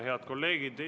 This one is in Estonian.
Head kolleegid!